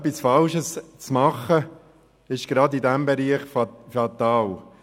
Etwas Falsches zu machen, ist gerade in diesem Bereich fatal.